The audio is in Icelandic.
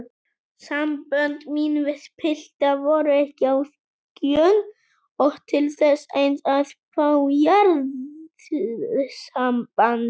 Sambönd mín við pilta voru ekki á skjön og til þess eins að fá jarðsamband.